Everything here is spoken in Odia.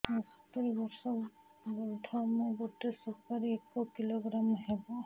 ମୁଁ ସତୂରୀ ବର୍ଷ ବୃଦ୍ଧ ମୋ ଗୋଟେ ସୁପାରି ଏକ କିଲୋଗ୍ରାମ ହେବ